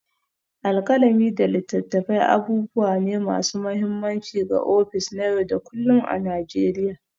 Alkalami da littattafai abubuwa ne masu mahimmanci ga ofis na yau da kullun a Najeriya.